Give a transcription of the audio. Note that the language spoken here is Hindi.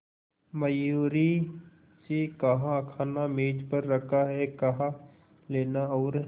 मयूरी से कहा खाना मेज पर रखा है कहा लेना और